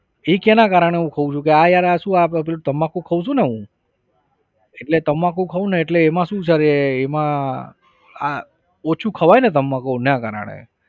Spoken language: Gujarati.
એ કેના કારણ એ હું ખઉ છું કે આ યાર આ શું પેલું તમ્બાકુ ખાઉં છું ને હું એટલે તમ્બાકુ ખાઉંને એટલે એમાં શું છે એમાં આ ઓછુ ખવાયને તમ્બાકુ એના કારણે.